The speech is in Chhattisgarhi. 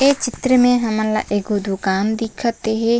ये चित्र में हमन ला एगो दुकान दिखत हे।